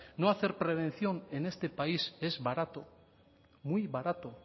no hacer prevención en este país es barato muy barato